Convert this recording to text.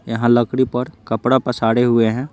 यहाँ लकड़ी पर कपड़ा पसारे हुए हैं।